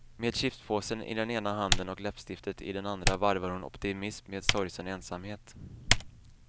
Med chipspåsen i ena handen och läppstiftet i den andra varvar hon optimism med sorgsen ensamhet.